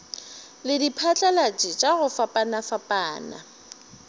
le diphatlalatši tša go fapafapana